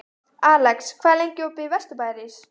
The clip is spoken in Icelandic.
Alex, hvað er lengi opið í Vesturbæjarís?